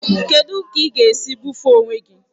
Kedụ ka ị ga-esi ebufe onwe gị?